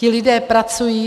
Ti lidé pracují.